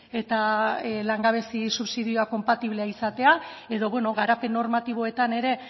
eta langabezi subsidioa konpatiblea izatea edo garapen normatiboetan ere